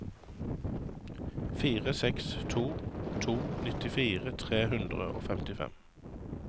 fire seks to to nittifire tre hundre og femtifem